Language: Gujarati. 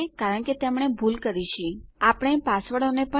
મને ખાતરી છે કે તમારામાંથી ઘણા એ રજીસ્ટર કરાવ્યું છે અને પાસવર્ડને ફરીથી ટાઈપ કર્યો હશે